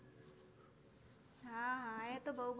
હા હા એ તો બઉ